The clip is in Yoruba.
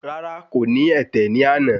Rárá, kò ní ẹ̀tẹ̀ ní àná